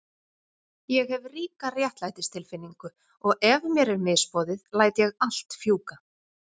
Ég hef ríka réttlætistilfinningu og ef mér er misboðið læt ég allt fjúka.